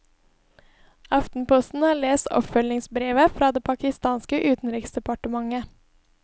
Aftenposten har lest oppfølgingsbrevet fra det pakistanske utenriksdepartementet.